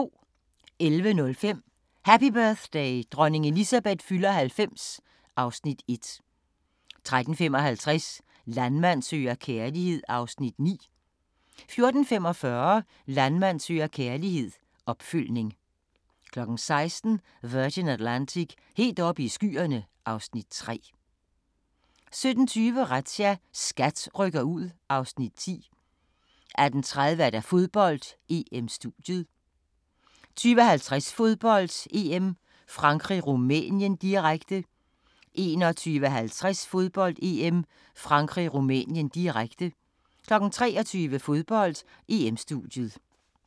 11:05: Happy birthday: Dronning Elizabeth fylder 90 (Afs. 1) 13:55: Landmand søger kærlighed (Afs. 9) 14:45: Landmand søger kærlighed – opfølgning 16:00: Virgin Atlantic – helt oppe i skyerne (Afs. 3) 17:20: Razzia – SKAT rykker ud (Afs. 10) 18:30: Fodbold: EM-studiet 20:00: Fodbold: EM - åbningsceremonien 20:50: Fodbold: EM - Frankrig-Rumænien, direkte 21:50: Fodbold: EM - Frankrig-Rumænien, direkte 23:00: Fodbold: EM-studiet